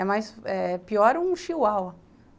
É mais... é pior um chihuahua.